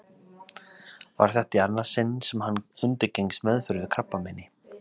Var þetta í annað sinn sem hann undirgengst meðferð við krabbameini.